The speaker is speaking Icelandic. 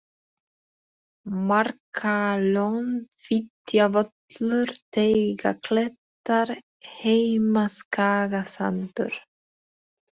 Marbakkalón, Fitjavöllur, Teigaklettar, Heimaskagasandur